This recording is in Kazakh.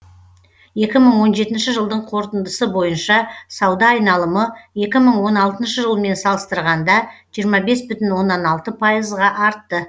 екі мың он жетінші жылдың қорытындысы бойынша сауда айналымы екі мың он алтыншы жылмен салыстырғанда жиырма бес бүтін оннан алты пайызға артты